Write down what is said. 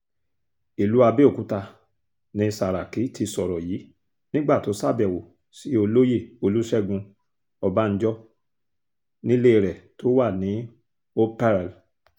ìlú abẹ́òkúta ni sàràkí ti sọ̀rọ̀ yìí nígbà tó ṣàbẹ̀wò sí olóyè olùṣègùn ọbànjọ́ nílé rẹ̀ tó wà ní operl